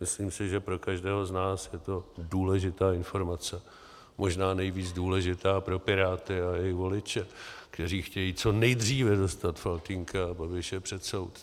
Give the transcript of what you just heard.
Myslím si, že pro každého z nás je to důležitá informace, možná nejvíc důležitá pro Piráty, ale i voliče, kteří chtějí co nejdříve dostat Faltýnka a Babiše před soud.